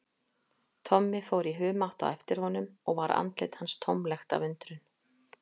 Tommi fór í humátt á eftir honum og var andlit hans tómlegt af undrun.